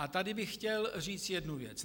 A tady bych chtěl říct jednu věc.